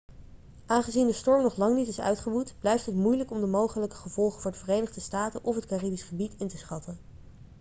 aangezien de storm nog lang niet is uitgewoed blijft het moeilijk om de mogelijke gevolgen voor de verenigde staten of het caribisch gebied in te schatten